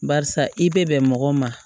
Barisa i bɛ bɛn mɔgɔw ma